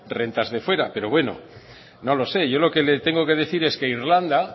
rentas de fuera pero bueno no lo sé yo lo que le tengo que decir es que irlanda